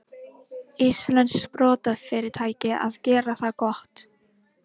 Íslenskt sprotafyrirtæki að gera það gott